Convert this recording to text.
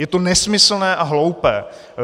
Je to nesmyslné a hloupé.